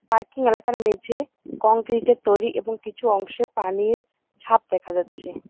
Parking এলাকার মেঝে concrete -এর তৈরি এবং কিছু অংশে পানির ছাপ দেখা যাচ্ছে।